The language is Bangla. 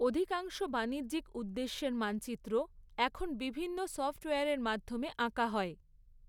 অধিকাংশ বাণিজ্যিক উদ্দেশ্যের মানচিত্র, এখন বিভিন্ন সফট্ওয়্যারের মাধ্যমে আঁকা হয়।